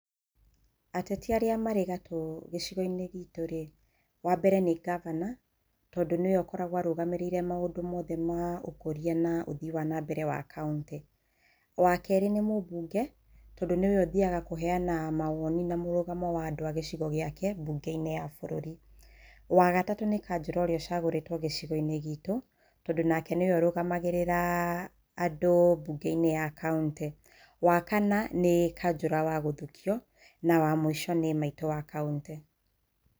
Ateti arĩa marĩ gatũ gĩcigo-inĩ gĩitũ rĩ, wambere nĩ ngabana, tondũ nĩwe ũkoragwo arũgamĩrĩire maũndũ mothe ma ũkũria na ũthii wa nambere wa kaontĩ. Wakerĩ nĩ mũmbunge, tondũ nĩwe ũthiaga kũheana mawoni na mũrũgamo wa gĩcigo gĩake mbunge-inĩ ya bũrũri. Wagatatũ nĩ kanjũra ũrĩa ũcagũrĩtwo gĩcigo-inĩ gitũ, tondũ nake nĩwe ũrũgamagĩrĩra andũ mbunge-inĩ ya kauntĩ. Wakana nĩ kanjũra wa gũthukio, wa mũico nĩ maitũ wa kauntĩ.